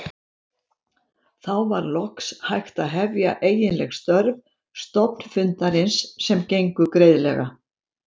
Þá var loks hægt að hefja eiginleg störf stofnfundarins sem gengu greiðlega.